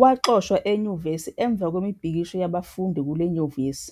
Waxoshwa enyuvesi emva kwemibhikisho yabafundi kule nyuvesi,